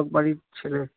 Amal